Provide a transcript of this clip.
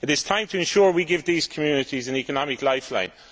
It is time to ensure we give these communities an economic lifeline.